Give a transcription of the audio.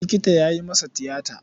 Likita ya yi masa tiyata.